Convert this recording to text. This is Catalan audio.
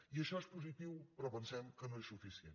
i això és positiu però pensem que no és suficient